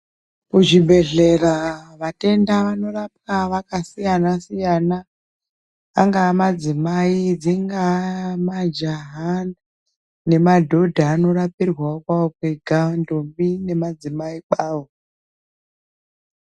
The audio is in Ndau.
Kuzvibhedhlera vatenda vanorapwa vakasiyana-siyana angava madzimai dzingava majaha nemadhodha anorapirwawo kwawo kwega ndombi nemadzimai kwawo.